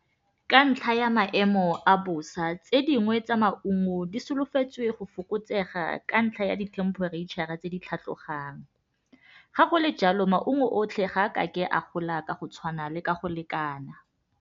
Ka ntlha ya maemo a bosa tse dingwe tsa maungo di solofetswe go fokotsega ka ntlha ya di temperature-ra tse di tlhatlogang ga go le jalo maungo otlhe ga a ka ke a gola ka go tshwana le ka go lekana.